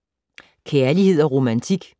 Kærlighed & romantik